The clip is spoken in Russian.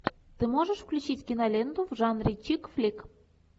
ты можешь включить киноленту в жанре чикфлик